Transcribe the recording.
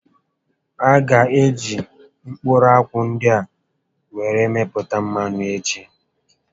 A gá eji mkpụrụ akwụ ndị a were mepụta mmanụ echi